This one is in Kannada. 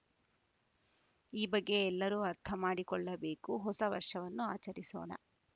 ಈ ಬಗ್ಗೆ ಎಲ್ಲರೂ ಅರ್ಥ ಮಾಡಿಕೊಳ್ಳಬೇಕು ಹೊಸ ವರ್ಷವನ್ನು ಆಚರಿಸೋಣ